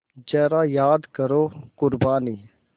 ज़रा याद करो क़ुरबानी